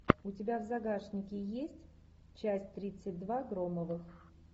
у тебя в загашнике есть часть тридцать два громовых